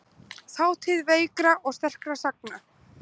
Þátíð veikra og sterkra sagna.